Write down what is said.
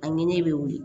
A ni ne bɛ wuli